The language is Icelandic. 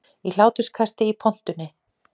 Í hláturskasti í pontunni